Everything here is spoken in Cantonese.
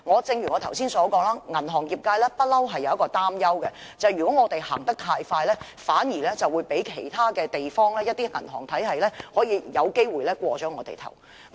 正如我剛才所說，銀行業界一直擔憂，便是如果我們走得太快，反而會被其他地方的銀行體系超越，我昨天也......